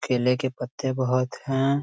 केले के पत्ते बहुत हैं।